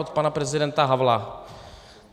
Od pana prezidenta Havla.